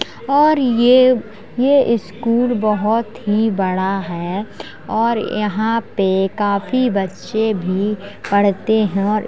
और ये ये स्कूल बहोत ही बड़ा है और यहाँं पे काफी बच्चे भी पढ़ते हैं और --